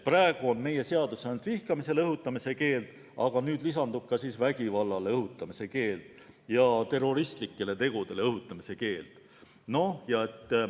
Praegu on meie seaduses ainult vihkamisele õhutamise keeld, aga nüüd lisandub ka vägivallale ja terroristlikele tegudele õhutamise keeld.